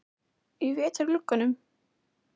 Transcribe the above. Í vetrarglugganum?